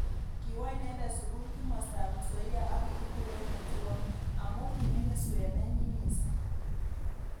Kiwo inendet sukul kimostab Nzoia ak kikikure Othuol. amu kimingin suet nenyi missing.